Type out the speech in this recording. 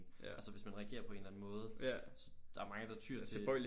Altså hvis man reagere på en eller anden måde der er mange der tyr til